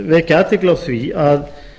vekja athygli á því að